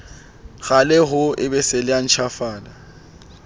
qale ho ebesela a ntjhafale